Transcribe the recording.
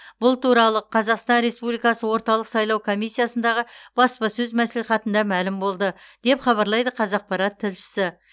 бұл туралы қазақстан республикасы орталық сайлау комиссиясындағы баспасөз мәслихатында мәлім болды деп хабарлайды қазақпарат тілшісі